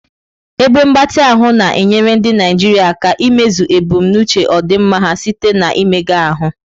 Ebe mgbatị ahụ na-enyere ndị Naijiria aka imezu ebumnuche ọdịmma ha site na mmega ahụ.